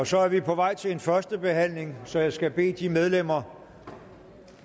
så er vi på vej til en første behandling så jeg skal bede de medlemmer